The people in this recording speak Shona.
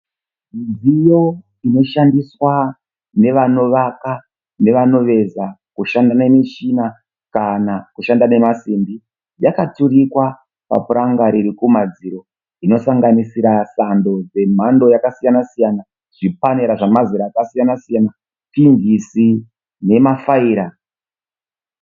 Midziyo inoshandiswa nevanovaka nevanoveza, kushanda nemishina kana kushanda nemasimbi yakaturikwa papuranga riri kumadziro inosanganisira sando dzemhando yakasiyana siyana, zvipanera zvemazera yakasiyana siyana, pinjisi nemafaira